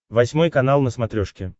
восьмой канал на смотрешке